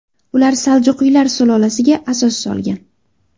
Ular saljuqiylar sulolasiga asos solgan.